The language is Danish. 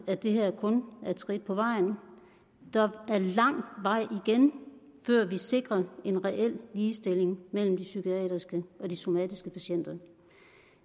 at det her kun er et skridt på vejen der er lang vej igen før vi sikrer en reel ligestilling mellem de psykiatriske og de somatiske patienter